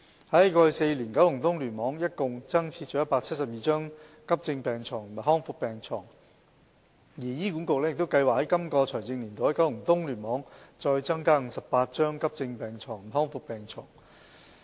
在過去4年，九龍東聯網一共增設了172張急症病床和康復病床，而醫管局亦計劃在今個財政年度在九龍東聯網再增加58張急症病床和康復病床。